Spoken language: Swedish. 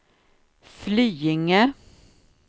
Flyinge